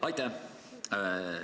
Aitäh!